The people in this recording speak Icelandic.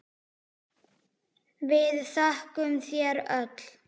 Við þökkum þér öll.